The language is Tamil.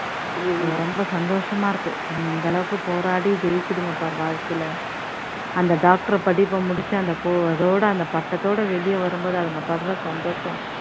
அது வந்து ரொம்ப சந்தோஷமா இருக்கு அதுங்க இந்த அளவுக்கு போராடி ஜெயிக்குதுங்க பாரு வாழ்க்கையில அந்த doctor படிப்ப முடிச்சு அந்த அதோட அந்த பட்டத்தொட வெளியே வரும் போது அதுங்க படுற சந்தோஷம்